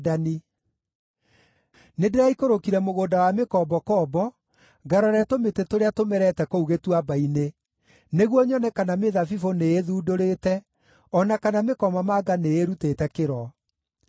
Nĩndĩraikũrũkire mũgũnda wa mĩkombokombo, ngarore tũmĩtĩ tũrĩa tũmerete kũu gĩtuamba-inĩ, nĩguo nyone kana mĩthabibũ nĩĩthundũrĩte, o na kana mĩkomamanga nĩĩrutĩte kĩro.